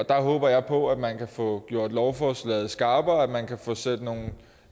der håber jeg på at man kan få gjort lovforslaget skarpere at man kan få sendt nogle